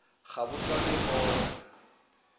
ga bo sa le gona